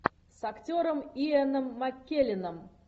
с актером иэном маккелленом